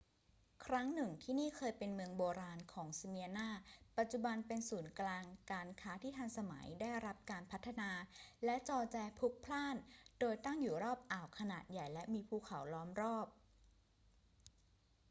ครั้งหนึ่ง ที่นี่เคยเป็นเมืองโบราณของสเมียร์นา ปัจจุบันเป็นศูนย์กลางการค้าที่ทันสมัย ได้รับการพัฒนา และจอแจพลุกพล่าน โดยตั้งอยู่รอบอ่าวขนาดใหญ่และมีภูเขาล้อมรอบ